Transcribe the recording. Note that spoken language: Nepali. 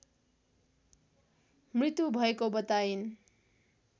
मृत्यु भएको बताइन्